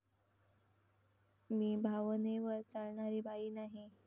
मी भावनेवर चालणारी बाई नाही.